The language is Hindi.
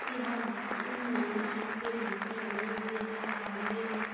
यहाँ म--लाइन से मल्टी बनी हुई है सामने भी--